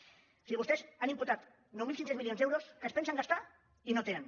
o sigui vostès han imputat nou mil cinc cents milions d’euros que es pensen gastar i no tenen